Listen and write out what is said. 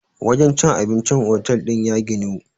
wajen cin abincin otal din ya ginu